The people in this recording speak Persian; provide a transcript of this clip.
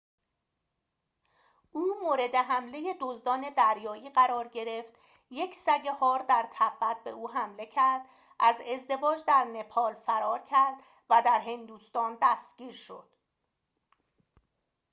او مورد حمله دزدان دریایی قرار گرفت یک سگ هار در تبت به او حمله کرد از ازدواج در نپال فرار کرد و در هندوستان دستگیر شد